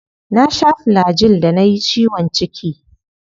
Na sha Flagyl da nayi ciwon ciki.